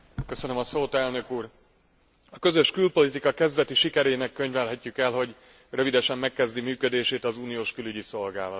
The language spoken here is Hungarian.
A közös külpolitika kezdeti sikerének könyvelhetjük el, hogy rövidesen megkezdi működését az uniós külügyi szolgálat.